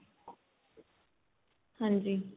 ਹਾਂਜੀ